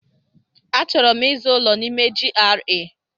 Achọrọ m ịzụ ụlọ n'ime GRA.